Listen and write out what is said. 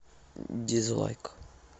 дизлайк